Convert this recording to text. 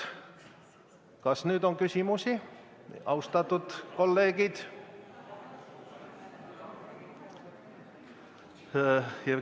Kas nüüd on küsimusi, austatud kolleegid?